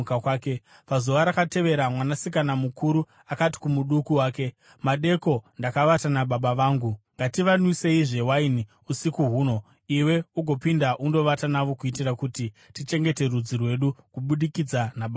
Pazuva rakatevera mwanasikana mukuru akati kumuduku wake, “Madeko ndakavata nababa vangu. Ngativanwiseizve waini usiku huno, iwe ugopinda undovata navo kuitira kuti tichengete rudzi rwedu kubudikidza nababa vedu.”